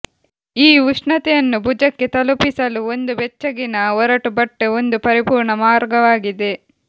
ಈ ಉಷ್ಣತೆಯನ್ನು ಭುಜಕ್ಕೆ ತಲುಪಿಸಲು ಒಂದು ಬೆಚ್ಚಗಿನ ಒರಟು ಬಟ್ಟೆ ಒಂದು ಪರಿಪೂರ್ಣ ಮಾರ್ಗವಾಗಿದೆ